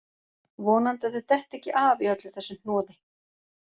Vonandi að þau detti ekki af í öllu þessu hnoði